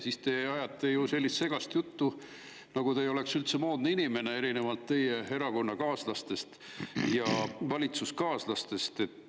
Ajate sellist segast juttu, nagu te ei oleks üldse moodne inimene erinevalt oma erakonnakaaslastest ja valitsuskaaslastest.